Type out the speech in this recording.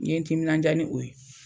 N ye n timinandiya ni o ye.